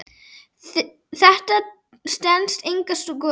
Þetta stenst enga skoðun.